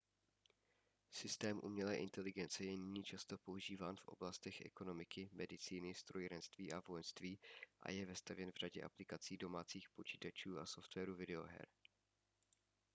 systém umělé inteligence je nyní často používán v oblastech ekonomiky medicíny strojírenství a vojenství a je vestavěn v řadě aplikací domácích počítačů a softwaru videoher